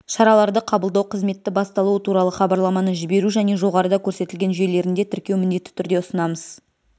шараларды қабылдау қызметті басталуы туралы хабарламаны жіберу және жоғарыда көрсетілген жүйелерінде тіркеу міндетті түрде ұсынамыз